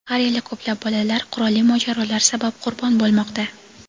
har yili ko‘plab bolalar qurolli mojarolar sabab qurbon bo‘lmoqda.